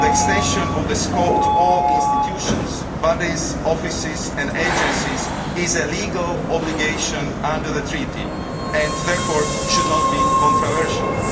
The extension of the scope to all institutions, bodies, offices and agencies is a legal obligation under the Treaty and therefore should not be controversial.